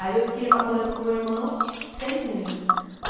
Aí eu fiquei lá morando com meu irmão seis meses.